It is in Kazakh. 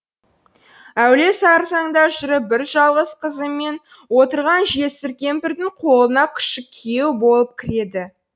әуре сарсаңда жүріп бір жалғыз қызымен отырған жесір кемпірдің қолына күшік күйеу болып кіреді